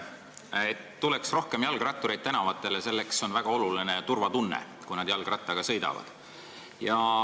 Selleks, et tänavatele tuleks rohkem jalgrattureid, on väga oluline turvatunne, kui inimesed jalgrattaga sõidavad.